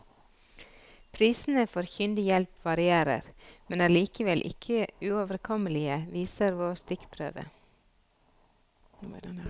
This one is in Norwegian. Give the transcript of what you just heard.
Prisene for kyndig hjelp varierer, men er likevel ikke uoverkommelige, viser vår stikkprøve.